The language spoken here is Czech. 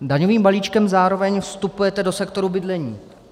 Daňovým balíčkem zároveň vstupujete do sektoru bydlení.